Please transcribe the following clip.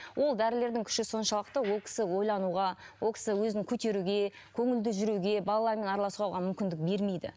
ол дәрілердің күші соншалықты ол кісі ойлануға ол кісі өзін көтеруге көңілді жүруге балаларымен араласуға оған мүмкіндік бермейді